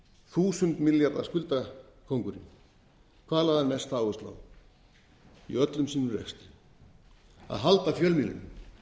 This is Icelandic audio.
þúsund milljarða skuldakóngurinn hvað lagði hann mest áherslu á í öllum sínum rekstri að halda fjölmiðlinum